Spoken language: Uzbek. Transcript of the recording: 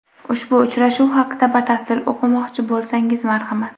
Ushbu uchrashuv haqida batafsil o‘qimoqchi bo‘lsangiz, marhamat .